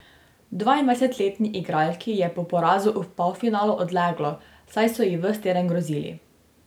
Dvaindvajsetletni igralki je po porazu v polfinalu odleglo, saj so ji ves teden grozili.